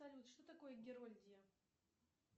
салют что такое герольдия